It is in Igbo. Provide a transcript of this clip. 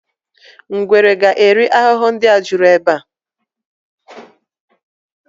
Ngwere ga eri ahụhụ ndị a juru ebe a